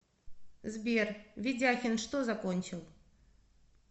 сбер ведяхин что закончил